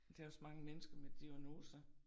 Der også mange mennesker med diagnoser